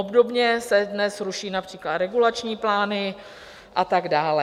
Obdobně se dnes ruší například regulační plány a tak dále.